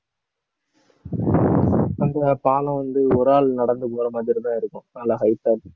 அந்த பாலம் வந்து ஒரு ஆள் நடந்து போற மாதிரிதான் இருக்கும் நல்ல height ஆ